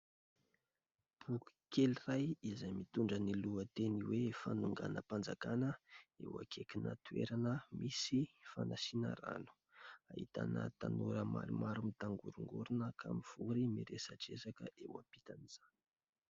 Boky kely iray izay mitondra ny lohateny hoe "fanonganam-panjakana", eo akaikina toerana misy fanasiana rano. Ahitana tanora maromaro mitangorongorona ka mivory miresadresaka eo ampitan' izany.